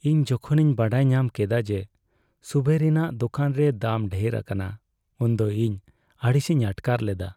ᱤᱧ ᱡᱚᱠᱷᱚᱱᱤᱧ ᱵᱟᱰᱟᱭ ᱧᱟᱢ ᱠᱮᱫᱟ ᱡᱮ ᱥᱩᱵᱷᱮᱨᱤᱱᱟᱜ ᱫᱳᱠᱟᱱ ᱨᱮ ᱫᱟᱢ ᱰᱷᱮᱨ ᱟᱠᱟᱱᱟ, ᱩᱱᱫᱚ ᱤᱧ ᱟᱹᱲᱤᱥᱤᱧ ᱟᱴᱠᱟᱨ ᱞᱮᱫᱟ ᱾